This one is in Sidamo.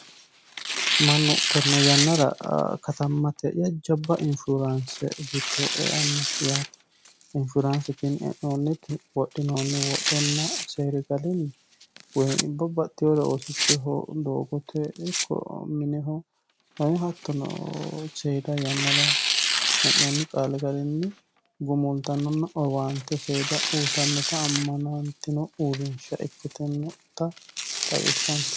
Mannu tene yannara katamate jajjabba insurance giddo eano yaate insuranceno e'nonniti wodhinonni wodhonna seeri garinni babbaxinore oosichoho mineho hattono seeda yannara e'nonni qaali garinni gumultanonna owaante uyittanotta amanatino uurrinsha ikkittano.